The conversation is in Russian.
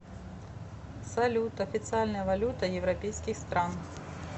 салют официальная валюта европейских стран